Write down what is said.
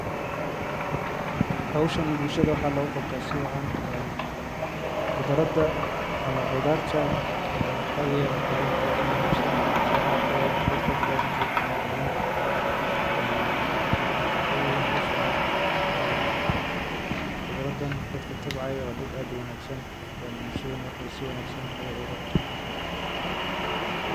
Howshani bulshaada waxaa logu qabtaa si wacan en qudraada ama qudharta ee waxaa weyan wax yalaha ogu muhiimsan ee ma aragtaye dadka bilaadanka ee kunoyihin en ee waxaa waye howshan en qudraadan dadka tabcayo waa dad aad u wanagsan en bulshadana waxee si wanagsan ee ugu qabtan hoshodha.